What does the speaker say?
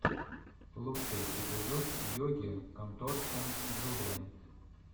лучший эпизод йоги конторшен джулиа